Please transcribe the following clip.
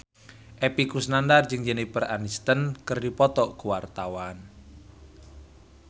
Epy Kusnandar jeung Jennifer Aniston keur dipoto ku wartawan